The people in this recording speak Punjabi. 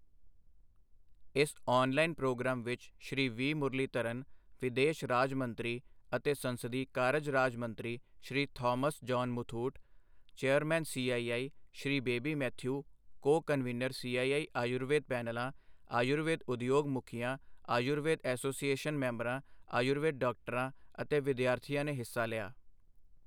ਇਸ ਔਨਲਾਈਨ ਪ੍ਰੋਗਰਾਮ ਵਿੱਚ ਸ਼੍ਰੀ ਵੀ. ਮੁਰਲੀਧਰਨ, ਵਿਦੇਸ਼ ਰਾਜ ਮੰਤਰੀ ਅਤੇ ਸੰਸਦੀ ਕਾਰਜ ਰਾਜ ਮੰਤਰੀ, Shri Thomas John Muthoot, chairman, CII, Shri Baby Mathew, co convener, CII Ayurveda ਪੈਨਲਾਂ, ਆਯੁਰਵੇਦ ਉਦਯੋਗ ਮੁਖੀਆਂ, ਆਯੁਰਵੇਦ ਐਸੋਸੀਏਸ਼ਨ ਮੈਂਬਰਾਂ, ਆਯੁਰਵੇਦ ਡਾਕਟਰਾਂ ਅਤੇ ਵਿਦਿਆਰਥੀਆਂ ਨੇ ਹਿੱਸਾ ਲਿਆ।